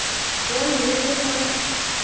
он медленно